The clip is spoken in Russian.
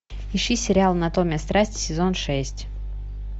ищи сериал анатомия страсти сезон шесть